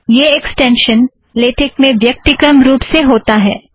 यह extension LaTeX में व्यक्तिक्रम रुप से होता है